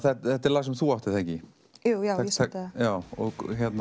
þetta er lag sem þú átt er það ekki jú ég samdi það og